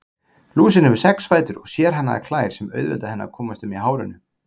Lúsin hefur sex fætur og sérhannaðar klær sem auðvelda henni að komast um í hárinu.